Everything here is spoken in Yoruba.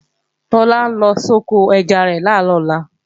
Tọ́lá ń lọ soko ẹja rẹ̀ làárọ̀ ọ̀la